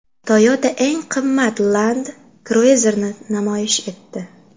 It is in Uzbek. Toyota eng qimmat Land Cruiser’ni namoyish etdi.